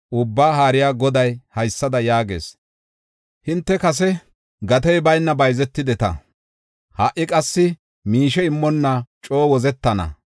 Ubbaa Haariya Goday haysada yaagees: “Hinte kase gatey bayna bayzetideta; ha77i qassi miishe immonna coo wozetana.